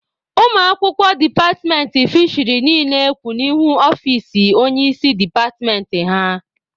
Ụmụ akwụkwọ departmentị fisheri niile kwụ n'ihu ọfici onye isi departmentị ha.